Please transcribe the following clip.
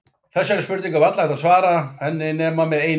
Þessari spurningu er varla hægt að svara henni nema með einu orði.